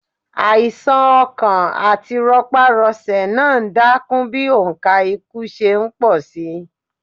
Àìsà̀n ọkàn àti rọparọsẹ̀ náà ń dákún bí òǹkà ikú ṣe ń pọ̀ síi.